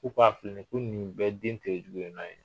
nin ko ninnu bɛɛ ye